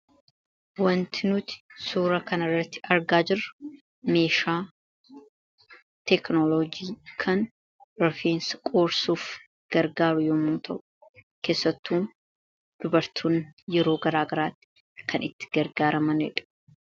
Wanti nuti suuraa kanarratti argaa jirru, meeshaa teekinoloojjii kan rifeensa qoorsuuf yommuu ta'u, keessattuu dubartoonni yeroo garagaraatti kan itti gargaaramanidha.